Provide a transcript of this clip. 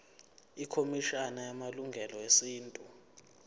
ikhomishana yamalungelo esintu